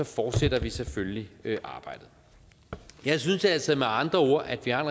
fortsætter vi selvfølgelig arbejdet jeg synes altså med andre ord at vi har